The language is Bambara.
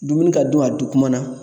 Dumuni ka dun a dun kuma na.